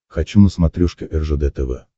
хочу на смотрешке ржд тв